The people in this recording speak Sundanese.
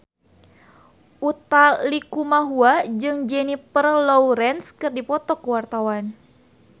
Utha Likumahua jeung Jennifer Lawrence keur dipoto ku wartawan